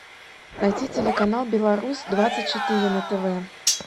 найти телеканал беларусь двадцать четыре на тв